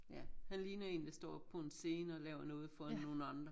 Ja han ligner en der står oppe på en scene og laver noget for nogen andre